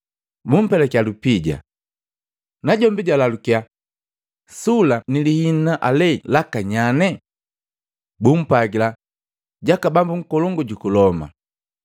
Bumpelakya lupija. Najombi jaalalukya, “Sula ni liina ale laka nyane?” Bumpwagila, “Jaka bambu nkolongu juku Loma.”